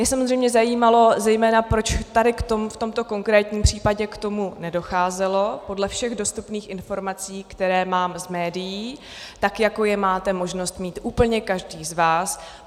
Mě samozřejmě zajímalo zejména, proč tady v tomto konkrétním případě k tomu nedocházelo podle všech dostupných informací, které mám z médií, tak jako je máte možnost mít úplně každý z vás.